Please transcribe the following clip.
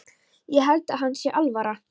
Ég held að henni sé alvara.